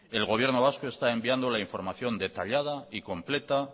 el gobierno vasco está enviando la información detallada y completa